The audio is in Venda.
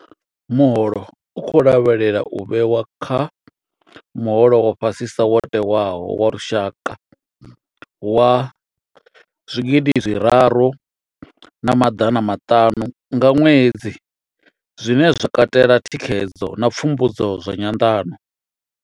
Muholo u khou lavhelelwa u vhewa kha muholo wa fha sisa wo tewaho wa lushaka wa R3 500 nga ṅwedzi, zwine zwa katela thikhedzo na pfumbudzo zwa nyanḓano.